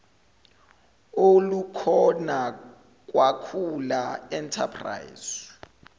olukhona kwakhula enterprise